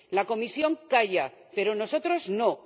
La Comisión calla, pero nosotros no.